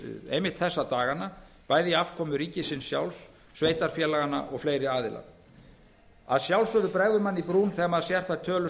einmitt þessa dagana bæði í afkomu ríkisins sjálfs sveitarfélaganna og fleiri aðila að sjálfsögðu bregður manni í brún þegar maður sér þær tölur